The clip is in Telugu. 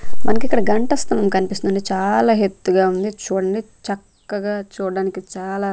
మనకిక్కడ గంఠస్థం కనిపిస్తుంది చాలా ఎత్తుగా ఉంది చూడండి చక్కగా చూడడానికి చాలా.